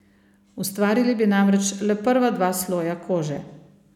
Ustvarili bi namreč le prva dva sloja kože.